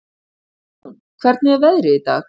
Rán, hvernig er veðrið í dag?